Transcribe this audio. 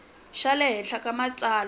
xa le henhla ka matsalwa